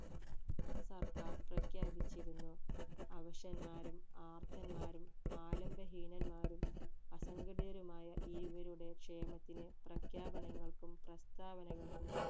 സർക്കാർ പ്രഖ്യാപിച്ചിരുന്നു അവശാന്മാരും ആർത്തമാരും ആലംബഹീനന്മാരും അസങ്കടിതരുമായ ഇവരുടെ ക്ഷേമത്തിന് പ്രഖ്യാപനങ്ങൾക്കും പ്രസ്ഥാനവകൾക്കും